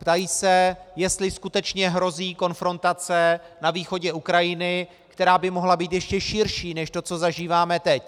Ptají se, jestli skutečně hrozí konfrontace na východě Ukrajiny, která by mohla být ještě širší než to, co zažíváme teď.